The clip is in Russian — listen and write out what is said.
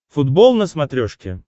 футбол на смотрешке